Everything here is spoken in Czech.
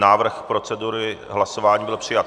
Návrh procedury hlasování byl přijat.